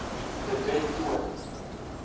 de wet toon